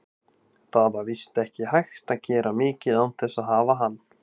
Það var víst ekki hægt að gera mikið án þess að hafa hann.